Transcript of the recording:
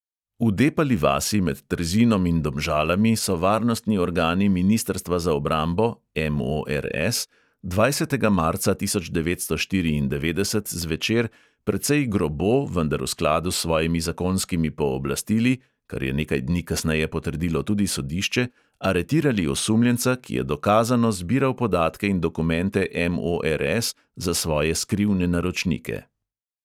V depali vasi med trzinom in domžalami so varnostni organi ministrstva za obrambo dvajsetega marca tisoč devetsto štiriindevetdeset zvečer precej grobo, vendar v skladu s svojimi zakonskimi pooblastili, kar je nekaj dni kasneje potrdilo tudi sodišče, aretirali osumljenca, ki je dokazano zbiral podatke in dokumente MORS za svoje skrivne naročnike.